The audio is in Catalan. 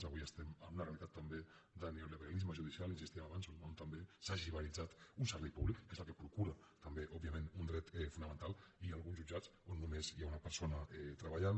avui estem amb una realitat també de neoliberalisme judicial hi insistíem abans on també s’ha liberalitzat un servei públic que és el que procura també òbvia ment un dret fonamental i hi ha alguns jutjats on només hi ha una persona treballant